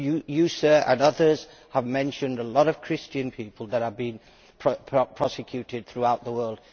You, sir, and others have mentioned a lot of Christian people that have been persecuted throughout the world.